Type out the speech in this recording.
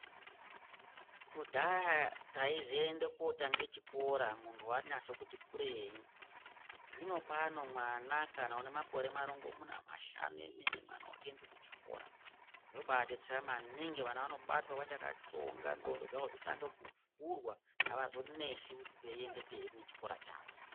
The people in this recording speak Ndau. Kudhaya taizoenda kotanga chikora muntu wanasa kuti kurei, zvino pano mwana kana ane makore marongomuna mashanu emene mwana otoende kuchikora zvobadetsera maningi vana vanobatwa vachakatsonga ndxondo dzavo dzotanga kuvhurwa avazonesi veiende mberi ngechikora chavo.